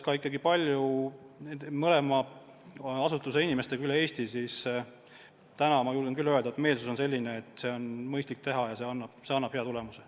Olen kohtunud palju mõlema asutuse inimestega üle Eesti ja julgen küll öelda, et meelsus on selline, et seda on mõistlik teha ja see annab hea tulemuse.